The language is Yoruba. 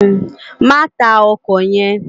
Má tá òkò yèn